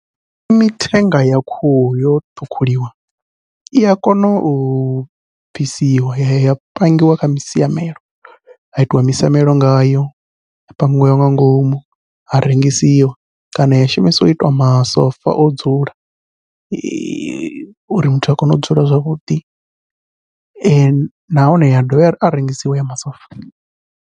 Kha mithenga ya khuhu yo ṱhukhuliwa ia kona u bvisiwa ya ya pangiwa kha misiamelo, ha itiwa misamelo ngayo, ha pangiwa nga ngomu ha rengisiwa kana ya shumisiwa u itwa masofa o dzula uri muthu a kone u dzula zwavhuḓi nahone ya dovha a rengisiwa haya masofa.